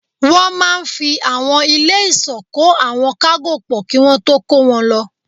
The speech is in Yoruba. Wọ́n máa n fi àwọn ilé ìsọ́ kó àwọn kágò pọ̀ kí wọ́n tó kó wọn lọ